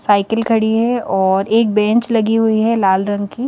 Cycle खड़ी है और एक बेंच लगी हुई है लाल रंग की।